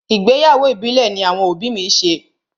Ìgbéyàwó ìbílẹ̀ ní àwọn òbí mi ṣe.